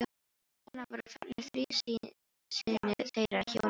Þarna voru farnir þrír synir þeirra hjóna í sjóinn.